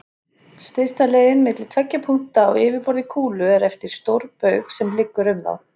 Stysta leiðin milli tveggja punkta á yfirborði kúlu er eftir stórbaug sem liggur um þá.